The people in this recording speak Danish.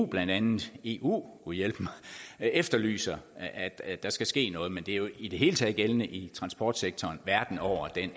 blandt andet eu gud hjælpe mig efterlyser at der skal ske noget men det er jo i det hele taget gældende i transportsektoren verden over at